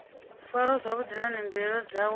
farwa zwavhuḓi nahone mbilaelo dzawe